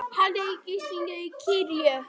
Haldið í gíslingu í kirkju